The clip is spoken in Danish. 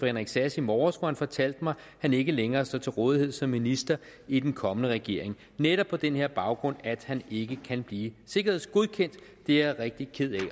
henrik sass i morges hvor han fortalte mig at han ikke længere står til rådighed som minister i en kommende regering netop på den her baggrund at han ikke kan blive sikkerhedsgodkendt det er jeg rigtig ked